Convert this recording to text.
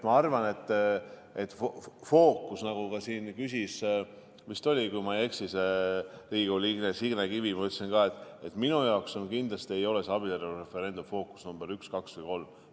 Ma arvan, et fookus, nagu siin küsis, kui ma ei eksi, Riigikogu liige Signe Kivi – ma ütlesin ka, et minu jaoks kindlasti ei ole abielureferendum fookus number üks või kaks või kolm.